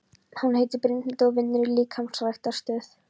Hún heitir Brynhildur og vinnur í líkamsræktarstöð.